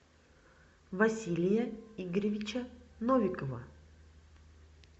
василия игоревича новикова